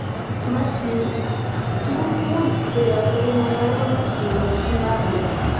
Mathew:tukuk mut cheyoche inai okobo Mathew ak Zimbabwe